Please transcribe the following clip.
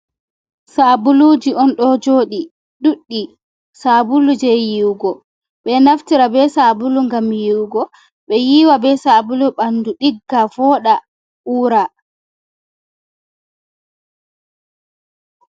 Sabuluji on do jodi duddi, saabulu je yihugo be naftira be sabulu gam yiwugo be yiwa be sabulu bandu digga voda ura.